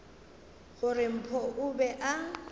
gore mpho o be a